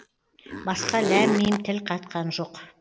басқа ләм мим тіл қатқан жоқ